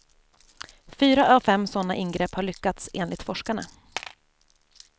Fyra av fem sådana ingrepp har lyckats, enligt forskarna.